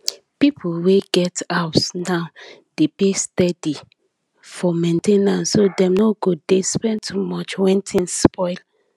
people wey get house now dey pay steady for main ten ance so dem no go dey spend too much when things spoil